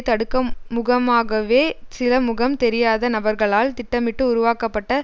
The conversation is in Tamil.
தடுக்கும்முகமாகவே சில முகம் தெரியாத நபர்களால் திட்டமிட்டு உருவாக்கப்பட்ட